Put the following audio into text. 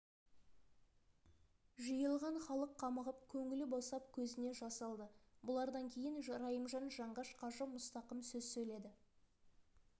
жиылған халық қамығып көңілі босап көзіне жас алды бұлардан кейін райымжан жанғаш қажы мұстақым сөз сөйледі